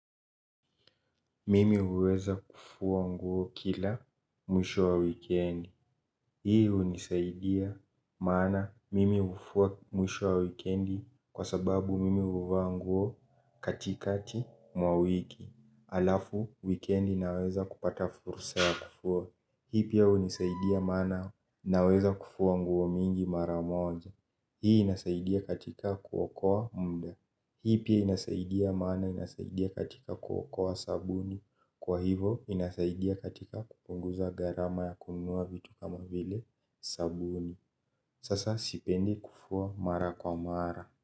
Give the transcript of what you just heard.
Mimi huweza kufua nguo kila mwisho wa wikendi. Hii gunisaidia maana mimi hufua mwisho wa wikendi. Kwa sababu mimi huvaa nguo katikati mwa wiki. Alafu, wikendi naweza kupata fursa ya kufua. Hii pia hunisaidia mana naweza kufua nguo mingi maramoja. Hii inasaidia katika kuokoa mda. Hii pia inasaidia maana inasaidia katika kuokoa sabuni. Kwa hivo inasaidia katika kupunguza gharama ya kunua vitu kama vile sabuni. Sasa sipende kufua mara kwa mara.